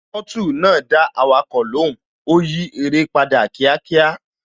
finasi náà dáhùn, ó fi ọwọ́ yí aré